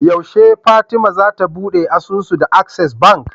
Yashe fatima zata buɗe asusu da access bank